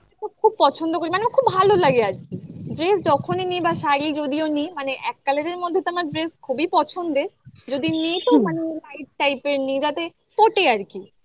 খুব পছন্দ করি মানে আমার খুব ভালো লাগে আরকি dress যখনই নিই বা শাড়ি যদিও নিই মানে এক colour এর মধ্যে তো আমার dress খুবই পছন্দের যদি নি তো মানে light type এর নি যাতে ফোটে আর কি